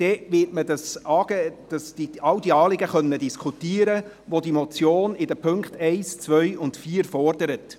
Man wird dann alle Anliegen diskutieren können, welche die Motion in den Punkten 1, 2 und 4 fordert.